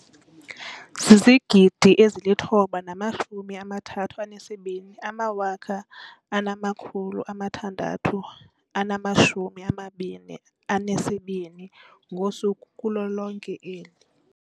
9 032 622 ngosuku kulo lonke eli.